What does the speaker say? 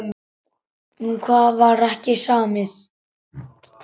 Um hvað var ekki samið?